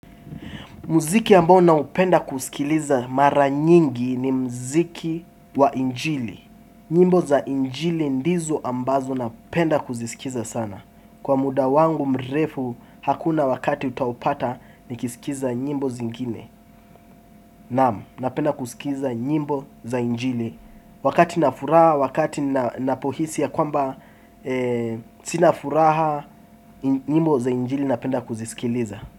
Muziki ambao naupenda kusikiliza mara nyingi ni mziki wa injili. Nyimbo za njili ndizo ambazo napenda kuzisikiza sana. Kwa muda wangu mrefu hakuna wakati utaupata nikisikiza nyimbo zingine. Naam, napenda kusikiza nyimbo za injili. Wakati nafuraha, wakati napohisi ya kwamba sina furaha nyimbo za injili napenda kuzisikiliza.